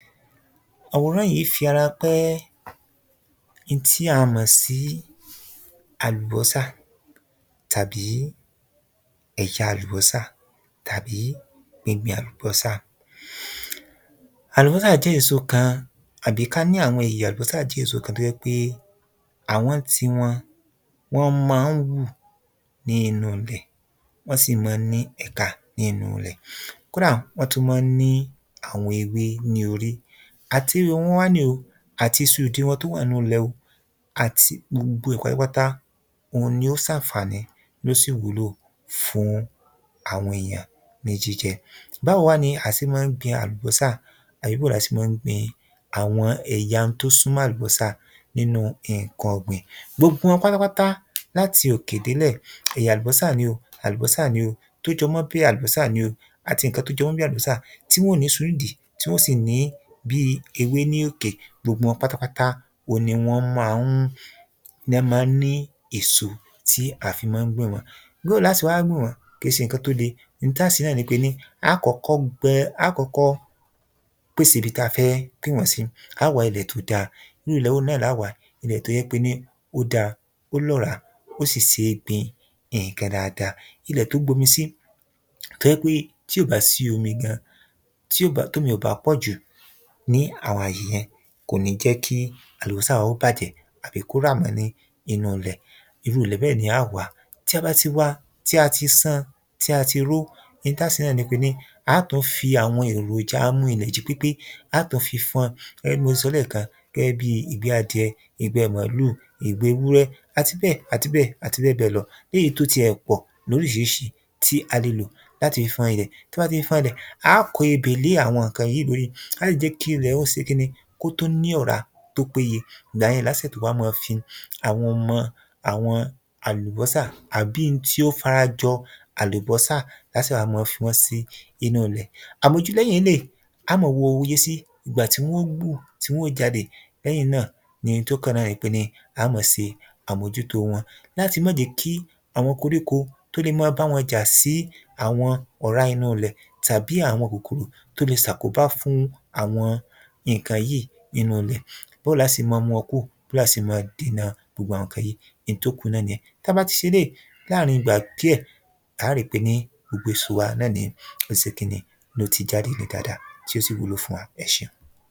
Àwòràn yìí ń fi ara pé n tí a mọ̀ sí àlùbọ́sà tàbí ẹ̀yà àlùbọ́sà tàbí gbẹgbẹ àlùbọ́sà. Àlùbọ́sà jẹ́ èso kan tàbí ká ní àwọn ẹ̀yà àlùbọ́sà jẹ́ èso kan tó jé pé àwọn ń ti wọn wọ́n mọ́n ń hù ní inú ilẹ̀ wọ́n sì mọ́ ń ní ẹ̀ka ní inú ilẹ̀. Kódà wọ́n tún mó ń ní àwọn ewé ní orí, àti ewé wọn wá ní o àti isu ìdí tó wà nú lẹ̀ o àti gbogbo ẹ̀ pátápátá òhun ni ó sànfàní ló sì wúlò fún àwọn èyàn ní jíjẹ. Báwo wá ni a se mọ́ ń gbin àlùbọ́sà àbí bó ni a se mọ́ ń gbin àwọn ẹ̀yà n tó súnmọ́ àlùbọ́sà nínú nǹkan ọ̀gbìn. Gbogbo wọn pátápátá láti òkè délè èyà àlùbọ́sà ni o, àlùbọ́sà ni o, tó jọ mọ́ bí àlùbọ́sà ni o àti nǹkan tí ó jọ mó bí àlùbọ́sà tí wọ́n ó nísu ńdìí tí wọ́n ó sì ní bí ewé ní òkè, gbogbo wọn pátápátá òhun ni wọ́n má ń ni wọ́n má ń ní èso tí à fí mó ń gbìn wọ́n. Bó lá se wá gbìn wọ́n? Kèé se nǹkan tó le, n tá se náà ni á kọ́kọ́ gbẹ á kọ́kọ́ pèsè ibi tá fẹ́ gbìn wọ́n sí, á wá ilẹ̀ tó dá. Irú ilẹ̀ wo náà lá wá? Ilẹ̀ tó jẹ́ pé ní ó dá, ó lọ́ràá ó sì sé gbin nǹkan dáada. Ilẹ̀ tó gbomi sí tó jẹ́ pé tí ò bá sí omi gan, tí ò bá tómi ò bá pọ̀jù ní àwọn àyè yẹn kò ní jẹ́ kí àlùbọ́sà wa kí ó bàjẹ́ àbí kó rà mọ́ ní inú ilẹ̀. Irú ilẹ̀ bẹ́ẹ̀ ni a ó wá, tí a bá ti wá, tí a ti sán an tí a ti ró, n tá se náà ni pé á tún fi àwọn èròjà amú ilẹ̀ jí pépé á tún fi fọ́n gẹ́gẹ́ bí mo ti sọ lẹ́kan gẹ́gẹ́ bí ìgbẹ́ adìẹ, ìgbẹ́ màálù, ìgbẹ ewúrẹ́ àti bẹ́è àti bẹ́ẹ̀ àti bẹ́ẹ̀ bẹ́ẹ̀ lọ. Léyìí tí ó ti ẹ̀ pọ̀ lóríṣiríṣi tí a le lò láti fi fọn ilẹ̀, tí a bá ti fi fọn ilẹ̀, á kó ebè lé àwọn nǹkan yìí lórí láti fi lè jẹ́ kí ilè ó se kíni kó tún ní ọ̀rá tó péye ìgbà yẹn lá tó sè tún wá mọ́ fi àwọn ọmọ àlùbọ́sà àbí n tí ó fara jọ àlùbọ́sà lá sè wá mọ́ fi wọ́n sí inú ilẹ̀. Àmójú lẹ́yìn eléyìí, á mó wo iye sí ìgbà tí wọ́n ó hù tí wọ́n ó jáde, lẹ́yìn náà ni n tó kàn nipé á mo se àmòjútó won láti mó jẹ́ kí àwọn koríko tó le mó bá wọ́n jà sí àwọn ọ̀rá inú ilẹ̀ tàbí àwọn kòkòrò tó le sàkóbá fún àwọn nǹkan yìí nínú ilẹ̀. Bó lá se mó mú wọn kúò, bí á se mó dènà gbogbo àwọn nǹkan wọ̀nyìí n tó kù náà nìyẹn. Tá bá ti se eléyìí láàrin ìgbà díẹ̀ á rí pé ní gbogbo àwọn èso wa ni ó se kíni ló ti jáde dáada tí ó sì wúlò fún wa. Ẹṣeun.